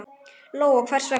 Lóa: Og hvers vegna?